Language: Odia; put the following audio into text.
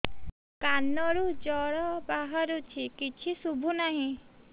କାନରୁ ଜଳ ବାହାରୁଛି କିଛି ଶୁଭୁ ନାହିଁ